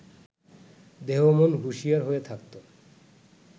দেহ-মন হুঁশিয়ার হয়ে থাকত